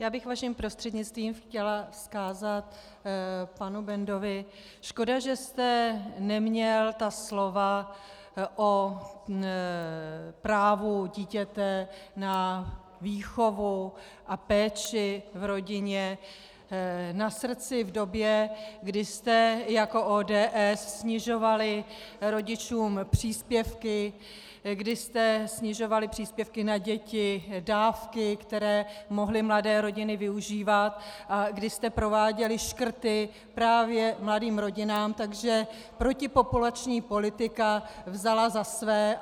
Já bych vaším prostřednictvím chtěla vzkázat panu Bendovi: Škoda, že jste neměl ta slova o právu dítěte na výchovu a péči v rodině na srdci v době, kdy jste jako ODS snižovali rodičům příspěvky, kdy jste snižovali příspěvky na děti, dávky, které mohly mladé rodiny využívat, a kdy jste prováděli škrty právě mladým rodinám, takže protipopulační politika vzala za své.